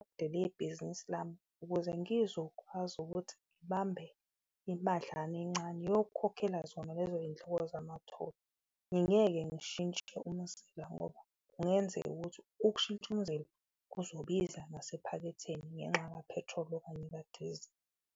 Ibhizinisi lami ukuze ngizokwazi ukuthi ngibambe imadlana encane yokukhokhela zona lezo yindleko zamatholi, ngingeke ngishintshe umzila ngoba kungenzeka ukuthi ukushintsha umzila kuzobiza ngasephaketheni ngenxa kaphethroli okanye kadizili.